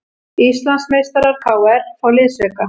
Íslandsmeistarar KR fá liðsauka